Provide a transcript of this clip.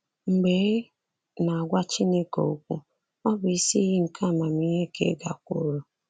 Mgbe ị na-agwa Chineke okwu, ọ bụ isi iyi nke amamihe ka ị gakwuuru.